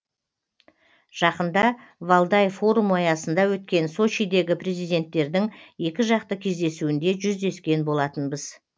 жақында валдай форумы аясында өткен сочидегі президенттердің екіжақты кездесуінде жүздескен болатынбыз